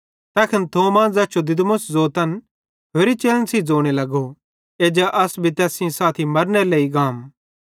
तैखन थोमा ज़ैस जो दिदुमुस ज़ोतन होरि चेलन सेइं ज़ोने लगो एज्जा अस भी तैस सेइं साथी मरनेरे लेइ गाम